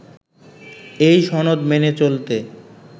এই সনদ মেনে চলতে